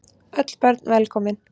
Öll börn velkomin.